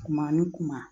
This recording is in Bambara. Kuma ni kuma